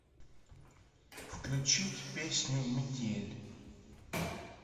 включить песню метель